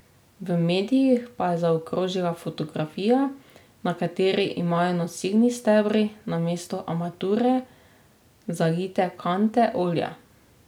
V medijih pa je zaokrožila fotografija, na kateri imajo nosilni stebri namesto armature zalite kante olja.